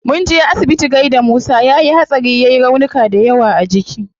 Munje asibiti gaida musa, yayi hatsari yai raunuka dayawa a jiki